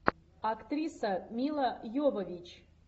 актриса мила йовович